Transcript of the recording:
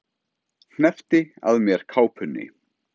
Hneppti að mér kápunni.